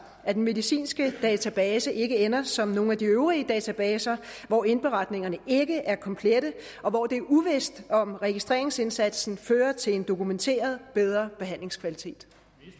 at den medicinske database ikke ender som nogle af de øvrige databaser hvor indberetningerne ikke er komplette og hvor det er uvist om registreringsindsatsen fører til en dokumenteret bedre behandlingskvalitet